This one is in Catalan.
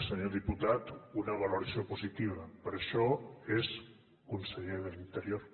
senyor diputat una valoració positiva per això és conseller d’interior